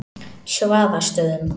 Svaðastöðum